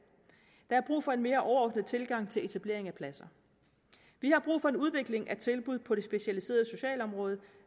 der er brug for en mere overordnet tilgang til etableringen af pladser vi har brug for en udvikling af tilbud på det specialiserede socialområde